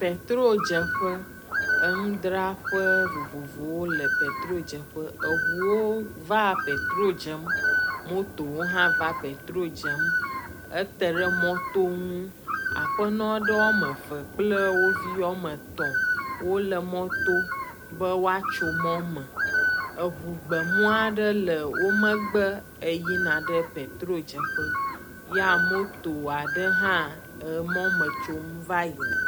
Petrodzeƒe, enudraƒe vovovowo le petrodzeƒe eŋuwo vaa le petro dzem motowo hã va oetro dzem. Ete ɖe mɔto ŋu. Aƒenɔa ɖewo wome eve kple wo viwo wome etɔ̃ wole mɔto be woatso mɔ me. Eŋu gbemua ɖe le wo megbe eyina ɖe petro dzeƒe ya emoto aɖe hã le mɔ me tsom va yina.